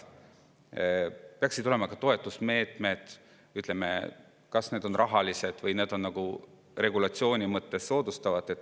peaksid olema ka toetusmeetmed, mis soodustavad kas rahaliselt või regulatsioonide mõttes.